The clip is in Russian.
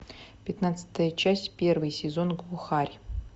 пятнадцатая часть первый сезон глухарь